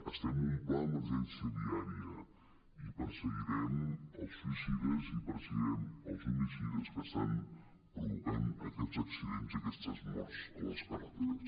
estem amb un pla d’emergència viària i perseguirem els suïcides i perseguirem els homicides que estan provocant aquests accidents i aquestes morts a les carreteres